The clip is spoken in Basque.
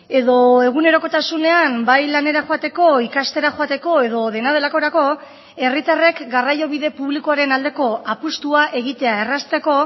edo egunerokotasunean bai lanera joateko ikastera joateko edo dena delakorako herritarrek garraio bide publikoaren aldeko apustua egitea errazteko